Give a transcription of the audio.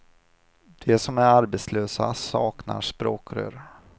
De som är arbetslösa saknar språkrör.